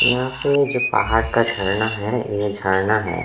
यहाँ पे जो पडाड़ का झरना है ये झरना है।